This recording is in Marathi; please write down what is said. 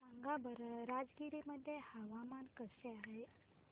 सांगा बरं राजगीर मध्ये हवामान कसे आहे